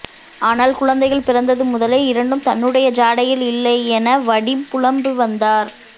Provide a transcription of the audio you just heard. ஆனால் குழந்தைகள் பிறந்தது முதலே இரண்டும் தன்னுடைய ஜாடையில் இல்லை என வடிம் புலம்பி வந்தார்